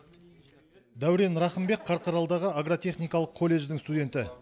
дәурен рахымбек қарқаралыдағы агротехникалық колледждің студенті